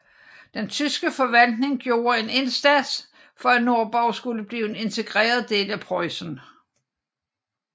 Den tyske forvaltning gjorde en stor indsats for at Nordborg skulle blive en integreret del af Preussen